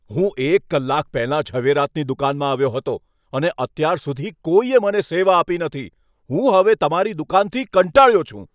હું એક કલાક પહેલાં ઝવેરાતની દુકાનમાં આવ્યો હતો અને અત્યાર સુધી કોઈએ મને સેવા આપી નથી. હું હવે તમારી દુકાનથી કંટાળ્યો છું.